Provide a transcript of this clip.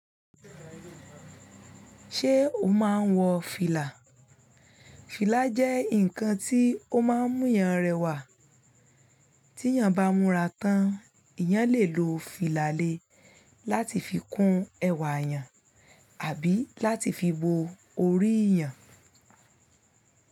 Ṣé o máa ń wọ fìlà? Fìlà jẹ́ ǹkan tí ó máa ń mú yan rẹwà. Tí èèyàn bá múra tán, eyán lè lo fìlà le láti fi kún ẹwà èèyàn àbí láti fi bo orí èèyàn.